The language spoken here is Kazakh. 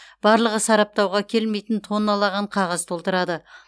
барлығы сараптауға келмейтін тонналаған қағаз толтырады